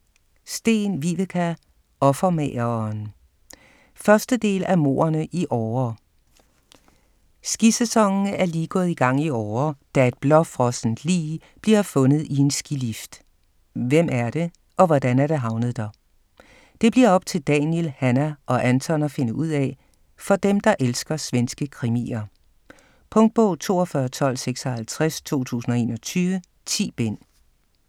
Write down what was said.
Sten, Viveca: Offermageren 1. del af Mordene i Åre. Skisæsonen er lige gået i gang i Åre, da et blåfrossent lig bliver fundet i en skilift. Hvem er det, og hvordan er det havnet der? Det bliver op til Daniel, Hanna og Anton at finde ud af. For dem, der elsker svenske krimier. Punktbog 421256 2021. 10 bind.